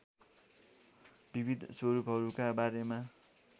विविध स्वरूपहरूका बारेमा